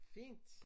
Fint